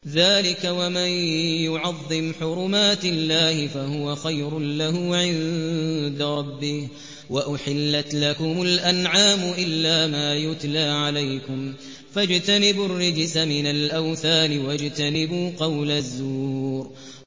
ذَٰلِكَ وَمَن يُعَظِّمْ حُرُمَاتِ اللَّهِ فَهُوَ خَيْرٌ لَّهُ عِندَ رَبِّهِ ۗ وَأُحِلَّتْ لَكُمُ الْأَنْعَامُ إِلَّا مَا يُتْلَىٰ عَلَيْكُمْ ۖ فَاجْتَنِبُوا الرِّجْسَ مِنَ الْأَوْثَانِ وَاجْتَنِبُوا قَوْلَ الزُّورِ